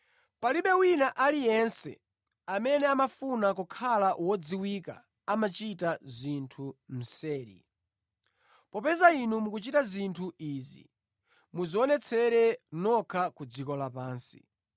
Palibe wina aliyense amene amafuna kukhala wodziwika amachita zinthu mseri. Popeza Inu mukuchita zinthu izi, mudzionetsere nokha ku dziko la pansi.”